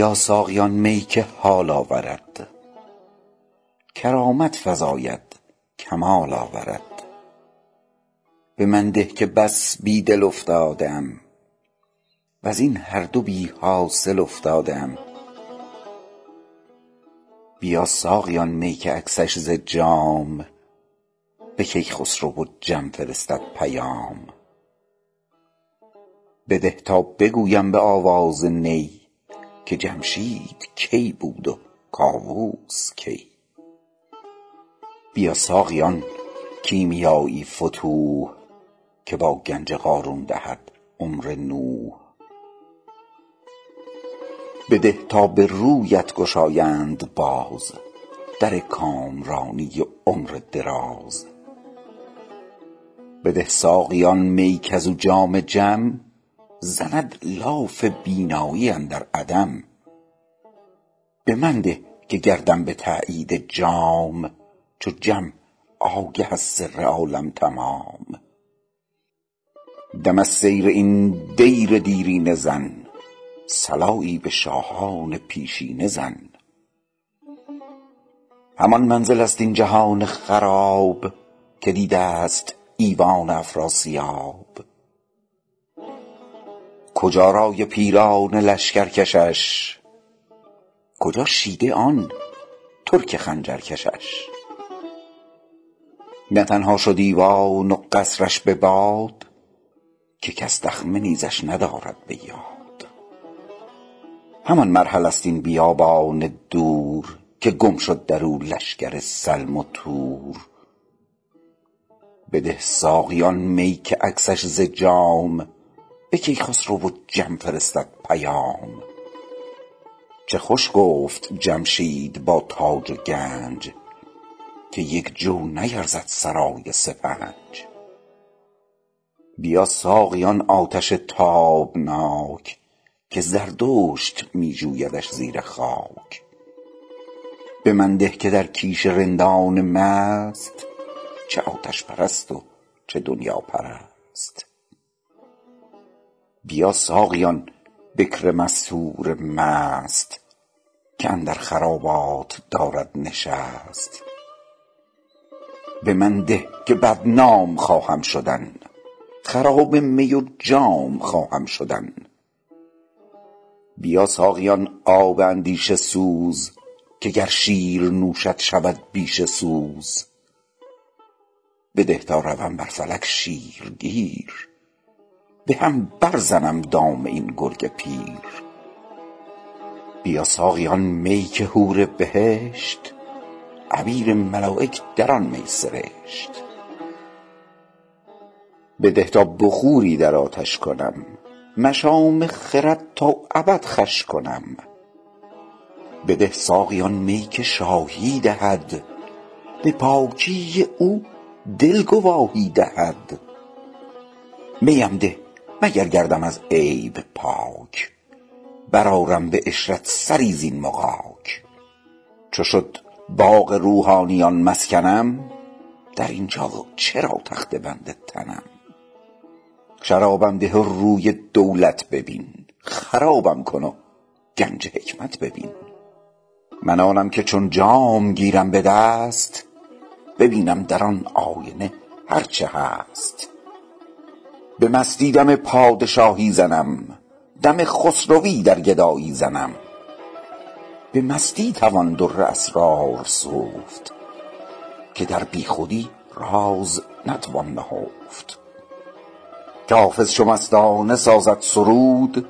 بیا ساقی آن می که حال آورد کرامت فزاید کمال آورد به من ده که بس بی دل افتاده ام وز این هر دو بی حاصل افتاده ام بیا ساقی آن می که عکسش ز جام به کیخسرو و جم فرستد پیام بده تا بگویم به آواز نی که جمشید کی بود و کاووس کی بیا ساقی آن کیمیای فتوح که با گنج قارون دهد عمر نوح بده تا به رویت گشایند باز در کامرانی و عمر دراز بده ساقی آن می کز او جام جم زند لاف بینایی اندر عدم به من ده که گردم به تأیید جام چو جم آگه از سر عالم تمام دم از سیر این دیر دیرینه زن صلایی به شاهان پیشینه زن همان منزل ست این جهان خراب که دیده ست ایوان افراسیاب کجا رأی پیران لشکر کشش کجا شیده آن ترک خنجر کشش نه تنها شد ایوان و قصر ش به باد که کس دخمه نیزش ندارد به یاد همان مرحله ست این بیابان دور که گم شد درو لشکر سلم و تور بده ساقی آن می که عکسش ز جام به کیخسرو و جم فرستد پیام چه خوش گفت جمشید با تاج و گنج که یک جو نیرزد سرای سپنج بیا ساقی آن آتش تابناک که زردشت می جویدش زیر خاک به من ده که در کیش رندان مست چه آتش پرست و چه دنیاپرست بیا ساقی آن بکر مستور مست که اندر خرابات دارد نشست به من ده که بدنام خواهم شدن خراب می و جام خواهم شدن بیا ساقی آن آب اندیشه سوز که گر شیر نوشد شود بیشه سوز بده تا روم بر فلک شیرگیر به هم بر زنم دام این گرگ پیر بیا ساقی آن می که حور بهشت عبیر ملایک در آن می سرشت بده تا بخوری در آتش کنم مشام خرد تا ابد خوش کنم بده ساقی آن می که شاهی دهد به پاکی او دل گواهی دهد می ام ده مگر گردم از عیب پاک برآرم به عشرت سری زین مغاک چو شد باغ روحانیان مسکنم در این جا چرا تخته بند تنم شرابم ده و روی دولت ببین خرابم کن و گنج حکمت ببین من آنم که چون جام گیرم به دست ببینم در آن آینه هر چه هست به مستی دم پادشاهی زنم دم خسروی در گدایی زنم به مستی توان در اسرار سفت که در بی خودی راز نتوان نهفت که حافظ چو مستانه سازد سرود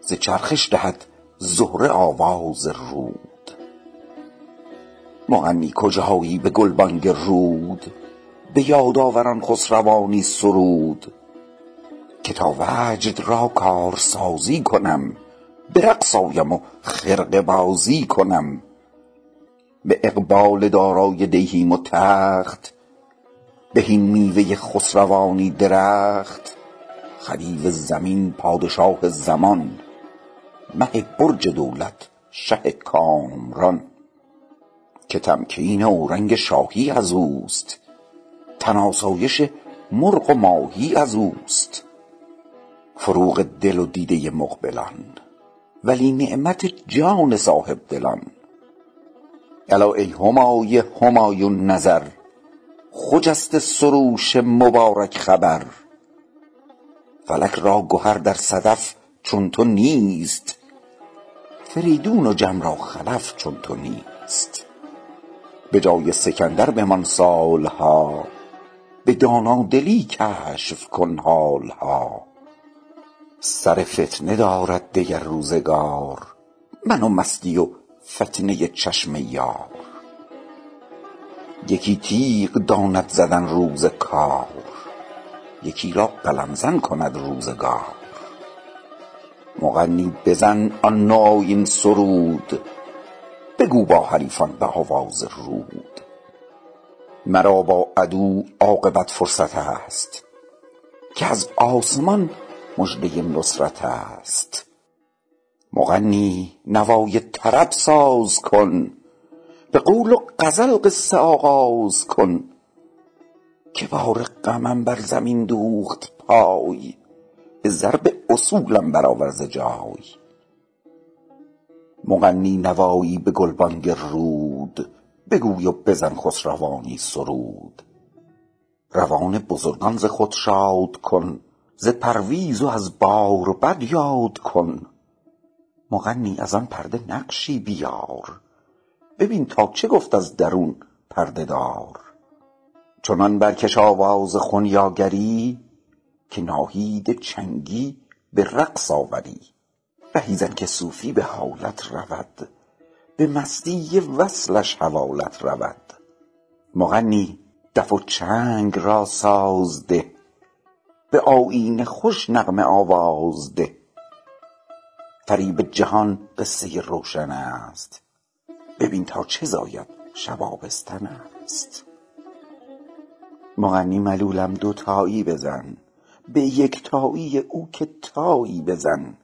ز چرخش دهد زهره آواز رود مغنی کجایی به گلبانگ رود به یاد آور آن خسروانی سرود که تا وجد را کارسازی کنم به رقص آیم و خرقه بازی کنم به اقبال دارای دیهیم و تخت بهین میوه خسروانی درخت خدیو زمین پادشاه زمان مه برج دولت شه کامران که تمکین اورنگ شاهی ازوست تن آسایش مرغ و ماهی ازوست فروغ دل و دیده مقبلان ولی نعمت جان صاحب دلان الا ای همای همایون نظر خجسته سروش مبارک خبر فلک را گهر در صدف چون تو نیست فریدون و جم را خلف چون تو نیست به جای سکندر بمان سال ها به دانادلی کشف کن حال ها سر فتنه دارد دگر روزگار من و مستی و فتنه چشم یار یکی تیغ داند زدن روز کار یکی را قلم زن کند روزگار مغنی بزن آن نوآیین سرود بگو با حریفان به آواز رود مرا بر عدو عاقبت فرصت است که از آسمان مژده نصرت است مغنی نوای طرب ساز کن به قول و غزل قصه آغاز کن که بار غمم بر زمین دوخت پای به ضرب اصولم برآور ز جای مغنی نوایی به گلبانگ رود بگوی و بزن خسروانی سرود روان بزرگان ز خود شاد کن ز پرویز و از باربد یاد کن مغنی از آن پرده نقشی بیار ببین تا چه گفت از درون پرده دار چنان برکش آواز خنیاگری که ناهید چنگی به رقص آوری رهی زن که صوفی به حالت رود به مستی وصلش حوالت رود مغنی دف و چنگ را ساز ده به آیین خوش نغمه آواز ده فریب جهان قصه روشن است ببین تا چه زاید شب آبستن است مغنی ملولم دوتایی بزن به یکتایی او که تایی بزن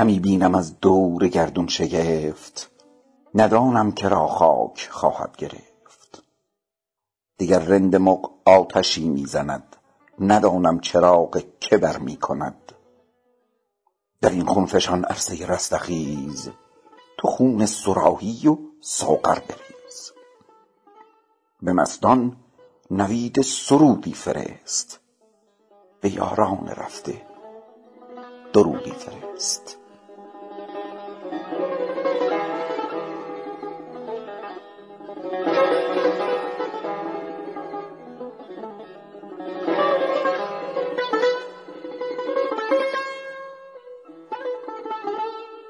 همی بینم از دور گردون شگفت ندانم که را خاک خواهد گرفت وگر رند مغ آتشی می زند ندانم چراغ که برمی کند در این خون فشان عرصه رستخیز تو خون صراحی و ساغر بریز به مستان نوید سرودی فرست به یاران رفته درودی فرست